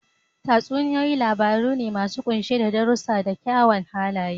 Tatsuniyoyi labaru ne masu kunshe da darussa na kyawawan halaye.